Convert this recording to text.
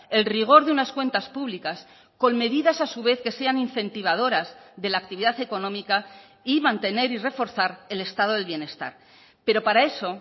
el rigor de unas cuentas públicas con medidas a su vez que sean incentivadoras de la actividad económica y mantener y reforzar el estado del bienestar pero para eso